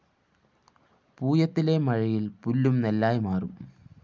പൂയത്തിലെ മഴയില്‍ പുല്ലും നെല്ലായി മാറും